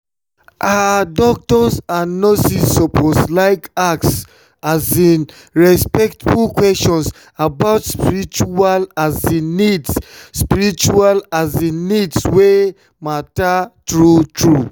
ah doctors and nurses suppose like ask um respectful questions about spiritual um needs spiritual um needs wey matter true-true.